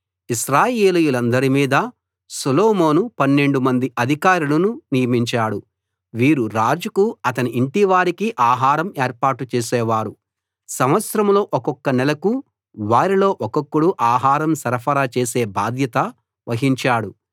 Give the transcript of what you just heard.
ఇశ్రాయేలీయులందరి మీదా సొలొమోను 12 మంది అధికారులను నియమించాడు వీరు రాజుకు అతని ఇంటివారికి ఆహారం ఏర్పాటు చేసేవారు సంవత్సరంలో ఒక్కొక్క నెలకు వారిలో ఒక్కొక్కడు ఆహారం సరఫరా చేసే బాధ్యత వహించాడు